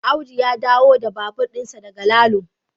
Audu ya dawo da babur dinsa daga Lalo